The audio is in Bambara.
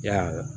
Yala